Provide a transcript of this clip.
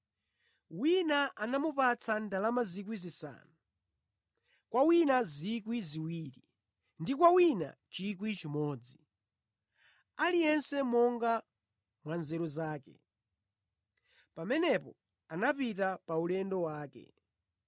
Wina anamupatsa ndalama 5,000, kwa wina 2,000 ndi kwa wina 1,000. Aliyense monga mwa nzeru zake. Pamenepo anapita pa ulendo wake.